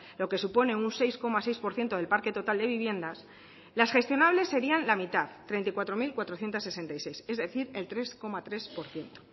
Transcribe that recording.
lo que supone un seis coma seis por ciento del parque total de viviendas las gestionables serian la mitad treinta y cuatro mil cuatrocientos sesenta y seis es decir tres coma tres por ciento